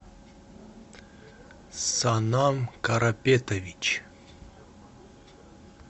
санам карапетович